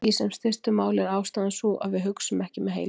Í sem stystu máli er ástæðan sú að við hugsum ekki með heilanum.